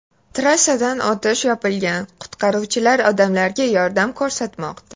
Trassadan o‘tish yopilgan, qutqaruvchilar odamlarga yordam ko‘rsatmoqda.